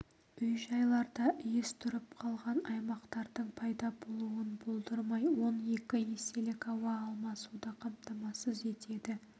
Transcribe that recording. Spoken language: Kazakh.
үй-жайларда иіс тұрып қалған аймақтардың пайда болуын болдырмай он екі еселік ауа алмасуды қамтамасыз етеді